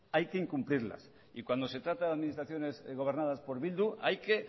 hay que incumplirlas y cuando se trata de administraciones gobernadas por bildu hay que